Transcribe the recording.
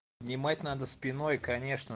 нимать надо спиной конечно